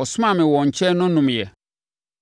ɔsomaa me wɔn nkyɛn no nomeeɛ: